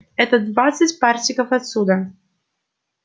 это двадцать парсеков отсюда